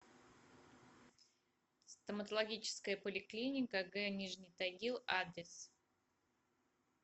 стоматологическая поликлиника г нижний тагил адрес